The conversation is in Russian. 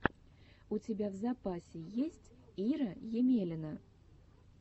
у тебя в запасе есть ира емелина